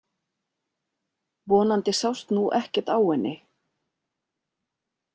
Vonandi sást nú ekkert á henni.